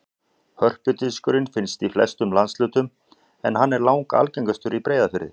Hörpudiskur finnst í flestum landshlutum en hann er langalgengastur í Breiðafirði.